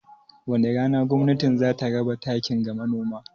Wani rana gwamnatin za ta raba takin ga Manoma?